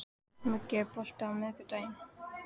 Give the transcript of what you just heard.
Muggi, er bolti á miðvikudaginn?